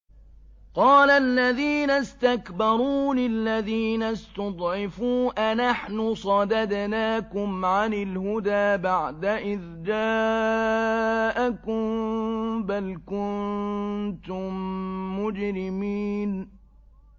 قَالَ الَّذِينَ اسْتَكْبَرُوا لِلَّذِينَ اسْتُضْعِفُوا أَنَحْنُ صَدَدْنَاكُمْ عَنِ الْهُدَىٰ بَعْدَ إِذْ جَاءَكُم ۖ بَلْ كُنتُم مُّجْرِمِينَ